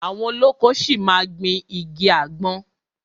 Àwọn olóko ṣi máa ma gbìn igi àgbọn.